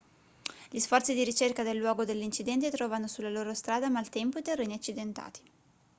gli sforzi di ricerca del luogo dell'incidente trovano sulla loro strada maltempo e terreni accidentati